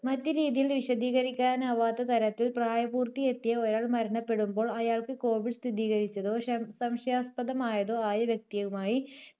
മറ്റ് രീതിയിൽ വിശദീകരിക്കാനാവാത്ത തരത്തിൽ പ്രായപൂർത്തിയെത്തിയ ഒരാൾ മരണപ്പെടുമ്പോൾ അയാൾക്ക് കോവിഡ് സ്ഥിരീകരിച്ചതോ ശം~സംശയാസ്പദമായതോ ആയ വ്യക്തിയുമായി